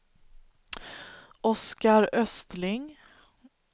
Oskar Östling